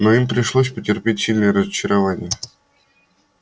но им пришлось потерпеть сильное разочарование